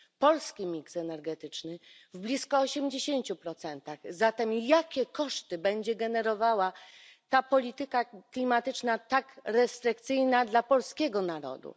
Polski mix energetyczny w blisko 80 zatem jakie koszty będzie generowała ta polityka klimatyczna, tak restrykcyjna dla polskiego narodu?